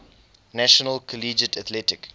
national collegiate athletic